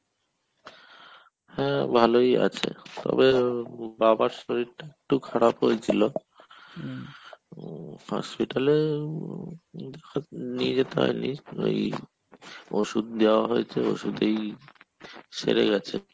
হ্যাঁ ভালোই আছে তবে আহ বাবার শরীরটা একটু খারাপ হয়েছিল হম hospital এ নিয়ে যেতে হয়নি ওই ওষুধ দেওয়া হয়েছে ওষুধেই সেরে গেছে।